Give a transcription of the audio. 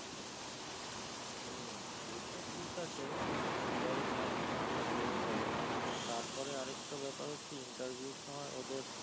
হ্যাঁ সে তো ঠিক আছে G. I. maths না হয়ে হয়েও গেলো তার পরে আর একটা ব্যাপার হচ্ছে interview র সময় ওদের